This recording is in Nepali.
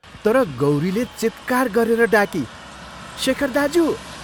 तर गौरीले चीत्कार गरे डाकी, " शेखर दाज्यू!